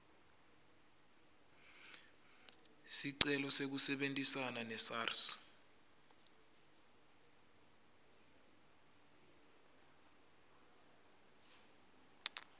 sicelo sekusebentisana nesars